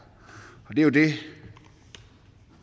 jo det